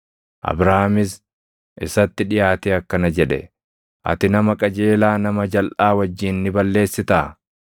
Abrahaamis isatti dhiʼaatee akkana jedhe; “Ati nama qajeelaa nama jalʼaa wajjin ni balleessitaa?